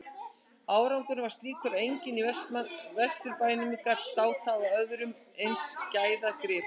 Árangurinn var slíkur að enginn í Vesturbænum gat státað af öðrum eins gæðagrip.